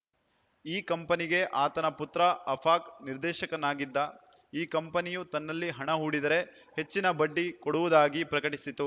ಈ ಕಂಪನಿಗೆ ಆತನ ಪುತ್ರ ಅಫಾಕ್‌ ನಿರ್ದೇಶಕನಾಗಿದ್ದ ಈ ಕಂಪನಿಯು ತನ್ನಲ್ಲಿ ಹಣ ಹೂಡಿದರೆ ಹೆಚ್ಚಿನ ಬಡ್ಡಿ ಕೊಡುವುಗಾಗಿ ಪ್ರಕಟಿಸಿತು